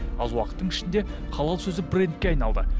аз уақыттың ішінде халал сөзі брендке айналды